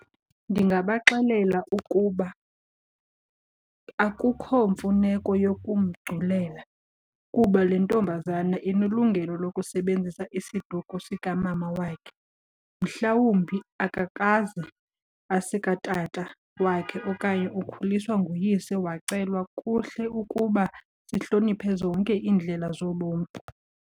Ndingabaxelela ukuba akukho mfuneko yokumgculela kuba le ntombazana inelungelo lokusebenzisa isiduko sikamama wakhe. Mhlawumbi akakaze esikatata wakhe okanye ukhuliswa nguyise, wacelwa. Kuhle ukuba sihloniphe zonke iindlela zobomi.